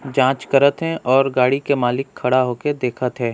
जांच करत हे और गाड़ी के मालिक खड़ा होके देखत हे।